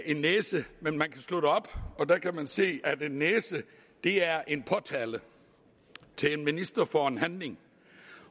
en næse men man kan slå det op og der kan man se at en næse er en påtale til en minister for en handling